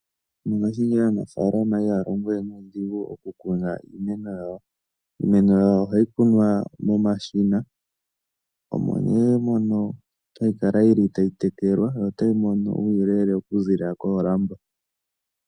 Mongaashingeyi aanafaalama ihaya longo we nuudhigu okukuna iimeno yawo. Iimeno yawo ohayi kunwa momashina omo nee mono hayi kala yili tayi tekelwa yo tayi mono uuyelele okuziilila koolamba.